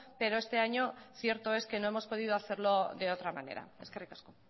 pero este año cierto es que no hemos podido hacerlo de otra manera eskerrik asko